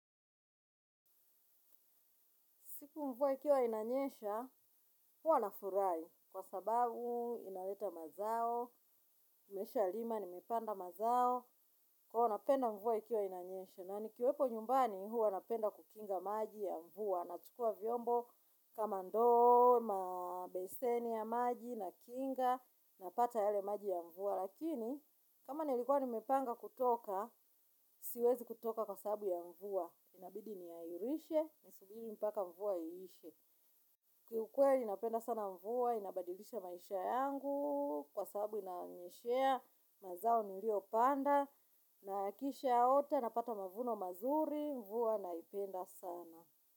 Siku mvua ikiwa inanyesha, huwa nafurahi kwa sababu inaleta mazao, nimeshalima, nimepanda mazao, kwa hivyo napenda mvua ikiwa inanyesha. Na nikiwepo nyumbani huwa napenda kukinga maji ya mvua, nachukua vyombo kama ndoo, mabeseni ya maji, nakinga, napata yale maji ya mvua. Lakini, kama nilikuwa nimepanga kutoka, siwezi kutoka kwa sababu ya mvua. Inabidi nihairishe, nisubiri mpaka mvua ilishe. Kiukweli napenda sana mvua, inabadilisha maisha yangu. Kwa sababu inanyeshea, mazao niliyopanda na kisha yaota, napata mavuno mazuri, mvua naipenda sana.